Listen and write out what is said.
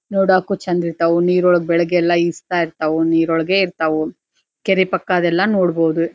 ನೋಡಕ್ಕು ಚಂದ ಇರತ್ವ್ ನೀರೊಳಗೆ ಬೆಳಗ್ಗೆಯೆಲ್ಲಾ ಈಜತ್ತಾ ಇರತ್ವ್ ನೀರೊಳಗೆ ಇರತ್ವ್ ಕೆರೆ ಪಕ್ಕದೆಲ್ಲಾ ನೋಡಬಹುದು.